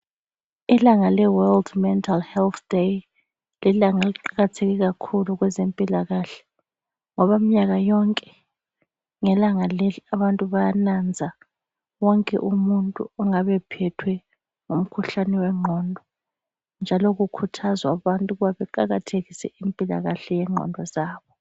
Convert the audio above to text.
Ilanga leWorld mental health day, lilanga eliqakatheke kakhulu kwezempilakahle ngoba mnyaka yonke ngelanga leli abantu bayananza wonke umuntu ongabe phethwe ngumkhuhlane wengqondo njalo kukhathazwa abantu ukuba beqakathekise impilakahle yengqondo zabo.